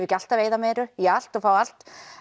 ekki alltaf eyða meiru í allt og fá allt